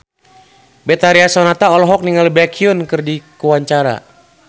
Betharia Sonata olohok ningali Baekhyun keur diwawancara